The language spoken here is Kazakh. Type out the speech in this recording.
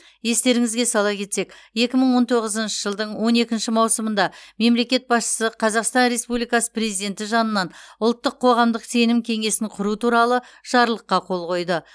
естеріңізге сала кетсек екі мың он тоғызыншы жылдың он екінші маусымында мемлекет басшысы қазақстан республикасы президенті жанынан ұлттық қоғамдық сенім кеңесін құру туралы жарлыққа қол қойды